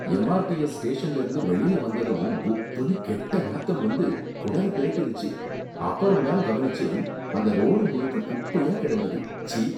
MRTS ஸ்டேஷன்ல இருந்து வெளிய வந்ததும் குப்புனு கெட்ட நாத்தம் வந்து குடல பிரட்டிருச்சு, அப்பறம் தான் கவனிச்சேன் அந்த ரோடு முழுக்க குப்பையா கிடந்தது, ச்சீ!